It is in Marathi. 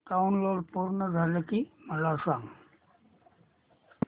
डाऊनलोड पूर्ण झालं की मला सांग